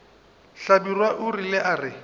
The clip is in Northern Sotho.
hlabirwa o ile a re